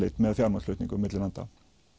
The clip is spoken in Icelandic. með fjármagnsflutningum milli landa